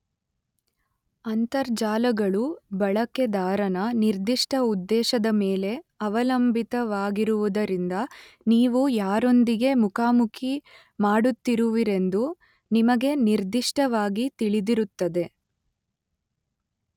ಅಂತರ್ಜಾಲಗಳು ಬಳಕೆದಾರನ, ನಿರ್ದಿಷ್ಟ ಉದ್ದೇಶದ ಮೇಲೆ ಅವಲಂಬಿತವಾಗಿರುವುದರಿಂದ ನೀವು ಯಾರೊಂದಿಗೆ ಮುಖಾಮುಖಿ ಮಾಡುತ್ತಿರುವಿರೆಂದು ನಿಮಗೆ ನಿರ್ದಿಷ್ಟವಾಗಿ ತಿಳಿದಿರುತ್ತದೆ.